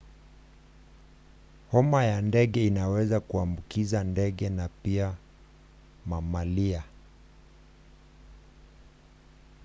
homa ya ndege inaweza kuambukiza ndege na pia mamalia